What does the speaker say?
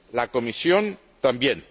la Comisión, también.